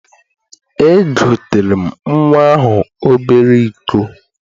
Egoteere m nnwa ahụ obere iko.